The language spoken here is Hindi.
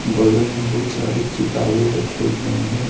बगल में बहुत सारे किताबें रखे गए हैं।